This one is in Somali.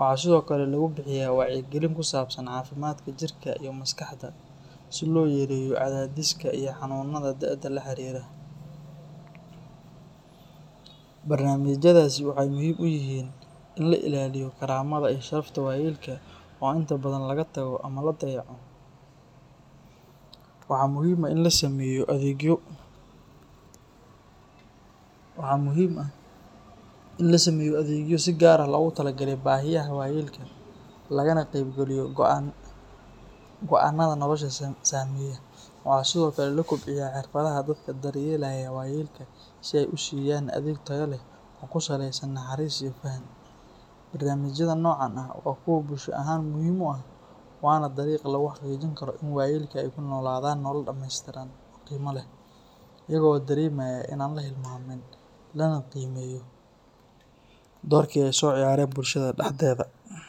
Waxaa sidoo kale lagu bixiyaa wacyigelin ku saabsan caafimaadka jirka iyo maskaxda, si loo yareeyo cadaadiska iyo xanuunnada da’da la xiriira. Barnaamijyadaasi waxay muhiim u yihiin in la ilaaliyo karaamada iyo sharafta waayeelka oo inta badan laga tago ama la dayaco. Waxaa muhiim ah in la sameeyo adeegyo si gaar ah loogu talagalay baahiyaha waayeelka, lagana qeybgeliyo go’aannada noloshooda saameeya. Waxaa sidoo kale la kobciyaa xirfadaha dadka daryeelaya waayeelka si ay u siiyaan adeeg tayo leh oo ku saleysan naxariis iyo faham. Barnaamijyada noocan ah waa kuwo bulsho ahaan muhiim u ah, waana dariiqa lagu xaqiijin karo in waayeelka ay ku noolaadaan nolol dhameystiran oo qiimo leh, iyaga oo dareemaya in aan la hilmaamin lana qiimeeyo doorkii ay soo ciyaareen bulshada dhexdeeda.